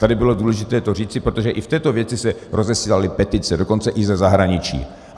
Tady bylo důležité to říci, protože i v této věci se rozesílaly petice, dokonce i ze zahraničí.